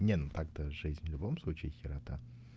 не но так-то жизнь в любом случае херня